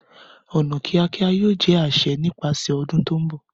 Ọna kiakia yoo jẹ aṣẹ nipasẹ ọdun to nbọ.